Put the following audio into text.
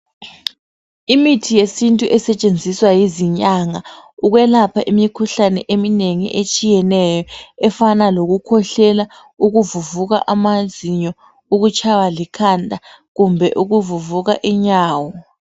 Imithi yesintu esetshenziswa yizinyanga ukwelapha imikhuhlane eminengi etshiyeneyo .Efana lokukhwehlela, ukuvuvuka amazinyo ,ukutshaywa likhanda kumbe ukuvuvuka inyawo.